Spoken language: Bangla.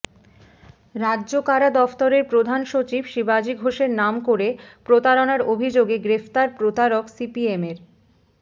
রাজ্য কারা দফতরের প্রধান সচিব শিবাজী ঘোষের নাম করে প্রতারণার অভিযোগে গ্রেফতার প্রতারক সিপিএমের